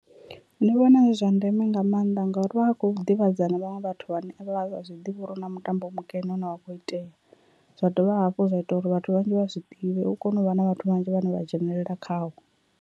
Ndi vhona zwi zwa ndeme nga maanḓa ngauri vha vha kho ḓivhadza na vhaṅwe vhathu vhane avha zwi ḓivha uri hu na mutambo mukene une wakho itea, zwa dovha hafhu zwa ita uri vhathu vhanzhi vha zwi ḓivhe u kone u vha na vhathu vhanzhi vhane vha dzhenelela khawo.